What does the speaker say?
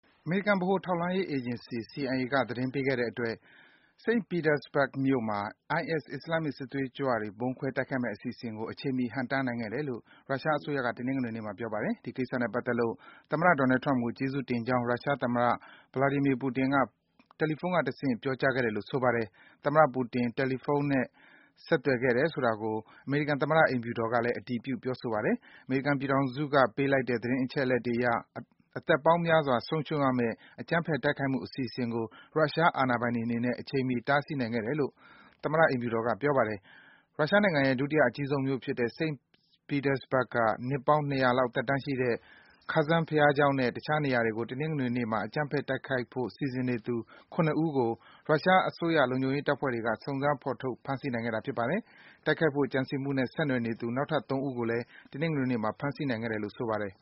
အမေရိကန် ဗဟိုထောက်လှမ်းရေး အေဂျင်စီ CIA က သတင်းပေးခဲ့တဲ့အတွက် St. Petersburg မြို့မှာ IS အစ္စလာမ်မစ် စစ်သွေးကြွတွေ ဗုံးခွဲတိုက်ခိုက်မယ့် အစီအစဉ်ကို အချိန်မှီ ဟန့်တားနိုင်ခဲ့တယ်လို့ ရုရှားအစိုးရက တနင်္ဂနွေနေ့မှာ ပြောပါတယ်။ ဒီကိစ္စနဲ့ပတ်သက်လို့ သမ္မတ Donald Trump ကို ကျေးဇူးတင်ကြောင်း ရုရှားသမ္မတ Vladimir Putin က တယ်လီဖုန်းကတဆင့် ပြောကြားခဲ့တယ်လို့ ဆိုပါတယ်။ သမ္မတ Putin တယ်လီဖုန်း ဆက်ခဲ့တယ်ဆိုတာကို အမေရိကန်သမ္မတ အိမ်ဖြူတော်ကလည်း အတည်ပြု ပြောဆိုပါတယ်။ အမေရိကန်ပြည်ထောင်စု ပေးလိုက်တဲ့ သတင်းအချက်အလက်အရ အသက်ပေါင်းများစွာ ဆုံးရှုံးရမယ့် အကြမ်းဖက် တိုက်ခိုက်မှု အစီအစဉ်ကို ရုရှားအာဏာပိုင်တွေအနေနဲ့ အချိန်မှီ တားဆီးနိုင်ခဲ့တယ်လို့ သမ္မတ အိမ်ဖြူတော်က ပြောပါတယ်။ ရုရှားနိုင်ငံရဲ့ ဒုတိယအကြီးဆုံးမြို့ဖြစ်တဲ့ St. Petersburg က နှစ်ပေါင်း ၂၀၀ လောက် သက်တမ်းရှိတဲ့ Kazan ဘုရားကျောင်းနဲ့ တခြား နေရာတွေကို တနင်္ဂနွေနေ့မှာ အကြမ်းဖက် တိုက်ခိုက်ဖို့ စီစဉ်နေသူ ၇ ဦးကို ရုရှား ဗဟိုအစိုးရ လုံခြုံရေးတပ်ဖွဲ့တွေက စုံစမ်း ဖော်ထုတ် ဖမ်းဆီး နိုင်ခဲ့တာ ဖြစ်ပါတယ်။ တိုက်ခိုက်ဖို့ ကြံစည်မှုနဲ့ ဆက်နွယ်နေသူ နောက်ထပ် ၃ ဦးကိုလည်း တနင်္ဂနွေနေ့မှာ ဖမ်းဆီးနိုင်ခဲ့တယ်လို့ ဆိုပါတယ်